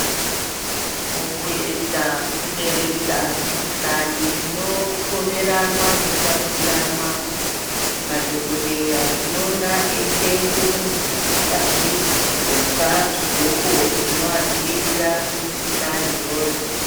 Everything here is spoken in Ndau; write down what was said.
Mukuedza kuderedza mikuhlani inopomeranwa, inotapuriranwa madhogodheya tinoona eiisenze munhu akazvi gloka zvigloko zvinoadziirira kumukuhlani iyoyo.